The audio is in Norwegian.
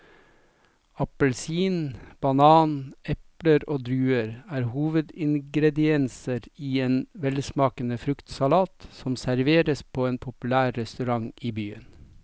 Appelsin, banan, eple og druer er hovedingredienser i en velsmakende fruktsalat som serveres på en populær restaurant i byen.